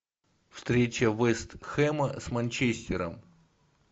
встреча вест хэма с манчестером